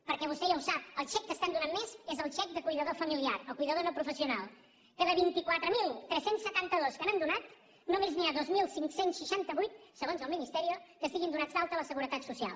perquè vostè ja ho sap el xec que estan donant més és el xec de cuidador familiar el cuidador no professional que de vint quatre mil tres cents i setanta dos que n’han donat només n’hi ha dos mil cinc cents i seixanta vuit segons el ministerio que estiguin donats d’alta a la seguretat social